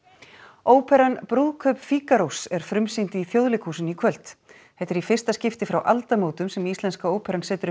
óperan brúðkaup er frumsýnd í Þjóðleikhúsinu í kvöld þetta er í fyrsta skipti frá aldamótum sem Íslenska óperan setur upp